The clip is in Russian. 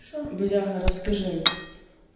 что бляха расскажи